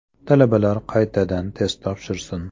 Talabalar qaytadan test topshirsin.